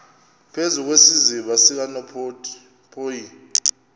phezu kwesiziba sikanophoyi